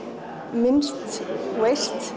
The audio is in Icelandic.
minnst